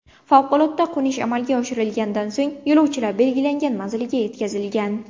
Favqulodda qo‘nish amalga oshirilganidan so‘ng, yo‘lovchilar belgilangan manziliga yetkazilgan.